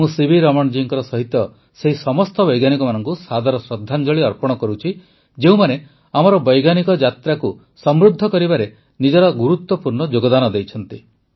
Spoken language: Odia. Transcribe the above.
ମୁଁ ସିଭି ରମଣ ଜୀଙ୍କ ସହିତ ସେହି ସମସ୍ତ ବୈଜ୍ଞାନିକମାନଙ୍କୁ ସାଦର ଶ୍ରଦ୍ଧାଞ୍ଜଳି ଅର୍ପଣ କରୁଛି ଯେଉଁମାନେ ଆମର ବୈଜ୍ଞାନିକ ଯାତ୍ରାକୁ ସମୃଦ୍ଧ କରିବାରେ ନିଜର ଗୁରୁତ୍ୱପୂର୍ଣ୍ଣ ଯୋଗଦାନ ଦେଇଛନ୍ତି